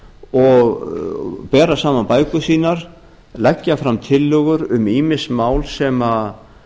og bera saman bækur sínar leggja fram tillögur um ýmis mál sem